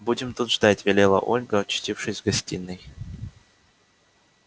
будем тут ждать велела ольга очутившись в гостиной